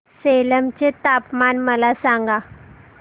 सेलम चे तापमान मला सांगा